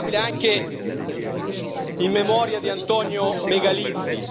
È inaccettabile anche in memoria di Antonio Megalizzi.